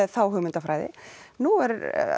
þá hugmyndarfræði nú eru